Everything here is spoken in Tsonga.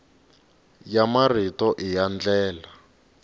ya marito i yo enela